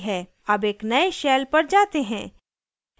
अब एक now shell पर जाते हैं